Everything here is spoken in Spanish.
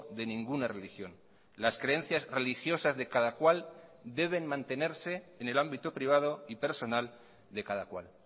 de ninguna religión las creencias religiosas de cada cual deben mantenerse en el ámbito privado y personal de cada cual